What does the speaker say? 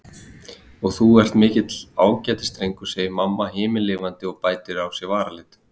Og þú ert mikill ágætisdrengur, segir mamma himinlifandi og bætir á sig varalit.